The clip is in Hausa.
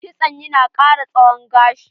Kitson ya na ƙara tsawon gashi.